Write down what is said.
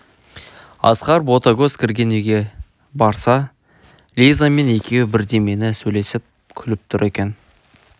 асқар ботагөз кірген үйге барса лизамен екеуі бірдемені сөйлесіп күліп тұр екен